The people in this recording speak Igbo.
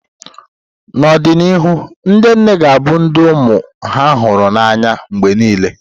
N’ọdịnihu, ndị nne ga-abụ ndị ụmụ ha hụrụ n’anya mgbe nile.